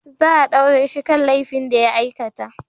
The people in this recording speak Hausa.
Za a daure shi kan laifin da ya aikata.